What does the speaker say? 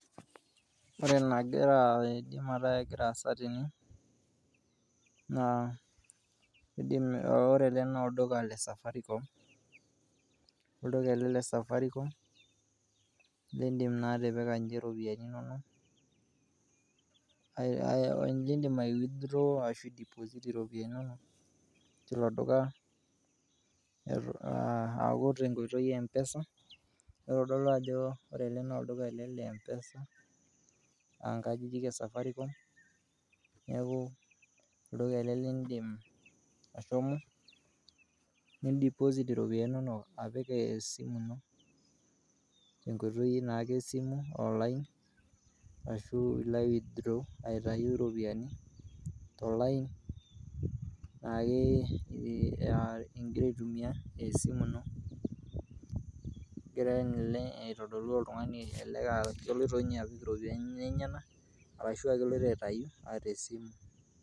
Ore nagira aidim metaa egira aasa tene, naa eidim ore ale naa olduka le safaricom ,olduka ale safaricom niindim naa atipika ninche ropiyani inonok, nindim aiwithdrowo ashu aideposit iropiyiani inono teilo duka aaku te nkoitoi empesa, neitadolu ajo ore ale naa olduka ale le mpesa aankajijik esafaricom, neaku olduka ale liindim ashomo nindiposit ropiyiani inono apik esimu ino te nkoitoi naake esimu olain ashuu line withdrawal aitayu ropiyiani to olain naake iye igira aitumiyan esimu ino, egira ninye ake aitodolu oltungani naa keloto ninye apik ropiyiani enyena arashu keloto aitayu te simu.